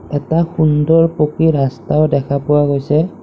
এটা সুন্দৰ পকী ৰাস্তাও দেখা পোৱা গৈছে।